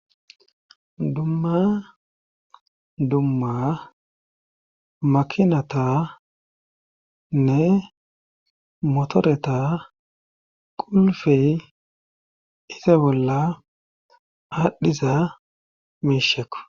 dumma dumma makinatanne motoreta qulfey iza bolla aadhdhiza miishekko